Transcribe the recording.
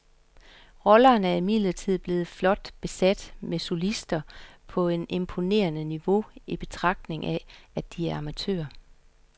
Rollerne er imidlertid blevet flot besat med solister på et imponerende niveau i betragtning af, at de er amatører.